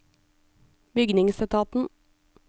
bygningsetaten